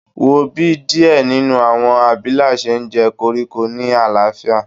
Wo bi diẹ ninu awọn abila ṣe njẹ koriko ni alaafia